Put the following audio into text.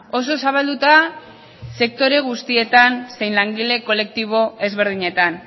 oso zabalduta sektore guztietan zein langile kolektibo ezberdinetan